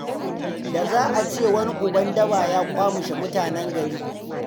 Da za a ce wani uban daba ya ƙwamishe mutane gari.